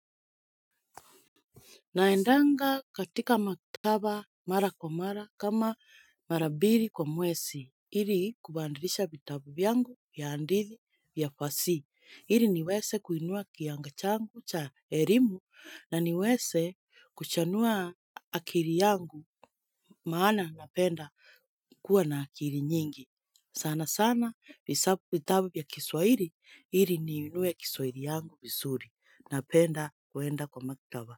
Naendanga katika makitaba mara kwa mara kama marabiri kwa mwesi, hili kubandrisha bitabubi yangu ya andithi ya fasi. Ili niweze kuinua kianga changu cha elimu na niweze kuchanua akili yangu maana napenda kuwa na akili nyingi. Sana sana vitabu ya kiswahili, ili niinue kiswahili yangu vizuri napenda kuenda kwa maktaba.